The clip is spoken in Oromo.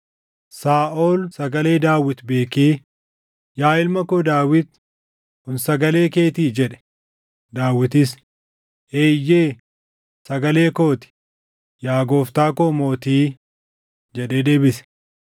Saaʼol sagalee Daawit beekee, “Yaa ilma koo Daawit, kun sagalee keetii?” jedhe. Daawitis, “Eeyyee; sagalee koo ti; yaa gooftaa koo mootii” jedhee deebise.